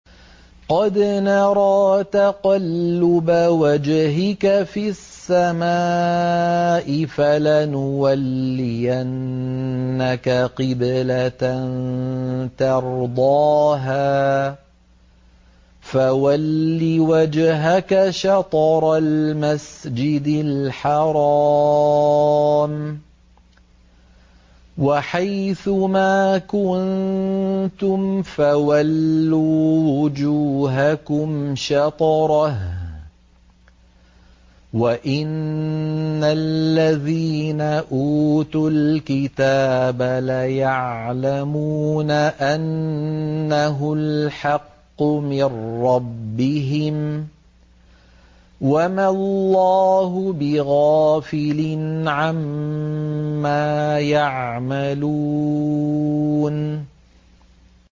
قَدْ نَرَىٰ تَقَلُّبَ وَجْهِكَ فِي السَّمَاءِ ۖ فَلَنُوَلِّيَنَّكَ قِبْلَةً تَرْضَاهَا ۚ فَوَلِّ وَجْهَكَ شَطْرَ الْمَسْجِدِ الْحَرَامِ ۚ وَحَيْثُ مَا كُنتُمْ فَوَلُّوا وُجُوهَكُمْ شَطْرَهُ ۗ وَإِنَّ الَّذِينَ أُوتُوا الْكِتَابَ لَيَعْلَمُونَ أَنَّهُ الْحَقُّ مِن رَّبِّهِمْ ۗ وَمَا اللَّهُ بِغَافِلٍ عَمَّا يَعْمَلُونَ